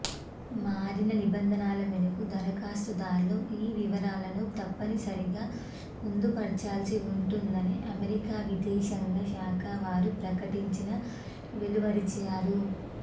మారిన నిబంధనల మేరకు దరఖాస్తుదార్లు ఈ వివరాలను తప్పనిసరిగా పొందుపర్చాల్సి ఉంటుందని అమెరికా విదేశాంగ శాఖ వారు ప్రకటన వెలువరించారు